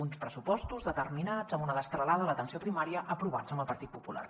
uns pressupostos determinats amb una destralada a l’atenció primària aprovats amb el partit popular